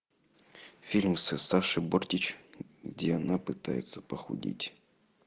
фильм с сашей бортич где она пытается похудеть